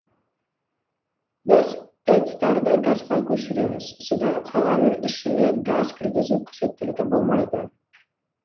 біз тэц тарды газға көшіреміз содан қаланың ішіне газ кіргізу қажеттілігі болмайды